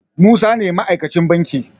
Musa ne ma aikacin banki